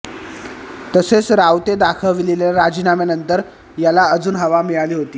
तसेच रावते दाखविलेल्या राजीनाम्यानंतर याला अजून हवा मिळाली होती